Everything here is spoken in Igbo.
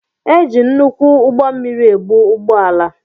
E jị nnukwu ụgbọ mmiri ebu ụgbọ ala.